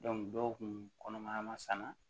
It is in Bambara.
dɔw kun kɔnɔmaya ma sanu